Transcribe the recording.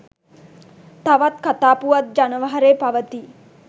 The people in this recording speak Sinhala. තවත් කථා පුවත් ජනවහරේ පවතී